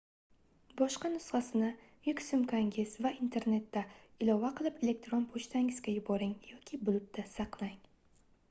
boshqa nusxasini yuk sumkangiz va internetda ilova qilib elektron pochtangizga yuboring yoki bulut"da saqlang